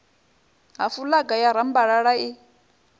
ha fulaga ya rambalala i